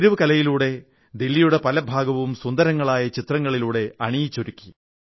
തെരുവു കലയിലൂടെ ദില്ലിയുടെ പല ഭാഗവും സുന്ദരമായ ചിത്രങ്ങളിലൂടെ അണിയിച്ചൊരുക്കി